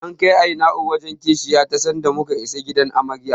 An kai Aina'u wajen Kishiyar ta sanda muka isa gidan Amaryar.